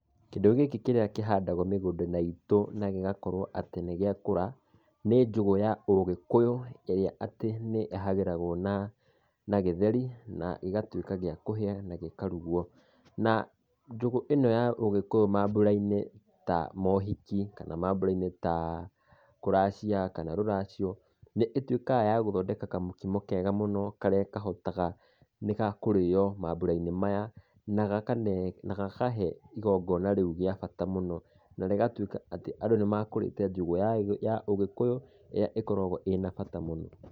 Kĩndũ gĩkĩ kĩrĩa kũhandagwo mũgũnda itũ na gĩgakorwo atĩ nĩ giakũra, nĩ njũgũ ya ũgĩkũyũ ĩrĩa atĩ nĩ ĩhagĩragwo na gĩtheri na ĩgatuĩka ya kũhĩa na gĩkarugwo. Njũgũ ĩno ya ũgĩkũyũ mambura-inĩ ta mohiki, kana kũracia kana rũracio, nĩ ĩtuĩkaga ya gũthondeka kamũkimo kega mũno, karĩa kahotaga, nĩ gakũrĩo mambura-inĩ, na gakahe igongona rĩũ rĩa bata mũno, na rĩgatuĩka atĩ andũ nĩmekũrĩte njũgũ ya ũgĩkũyũ, ĩrĩa ĩkoragwo na bata mũno.